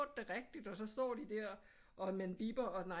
Det rigtigt og så står de der og man bipper og nej